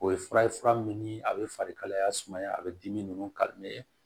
O ye fura ye fura min ni a bɛ fari kalaya sumaya a bɛ dimi ninnu